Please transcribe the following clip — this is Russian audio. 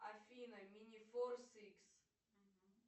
афина минифорс икс